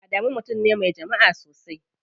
Adamu mutum ne me jama'a sosai.